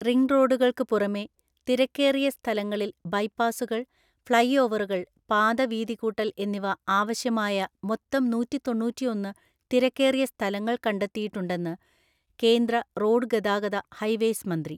റിംഗ്റോഡുകള്‍ക്ക് പുറമെ തിരക്കേറിയ സ്ഥലങ്ങളില്‍ ബൈപാസ്സുകള്‍, ഫ്ളൈഓവറുകള്‍, പാതവീതിക്കൂട്ടല്‍ എന്നിവ ആവശ്യമായ മൊത്തം നൂറ്റിതൊണ്ണൂറ്റിഒന്ന് തിരക്കേറിയസ്ഥലങ്ങള്‍ കണ്ടെത്തിയിട്ടുണ്ടെന്ന്കേന്ദ്ര റോഡ്ഗതാഗത, ഹൈവേയ്സ് മന്ത്രി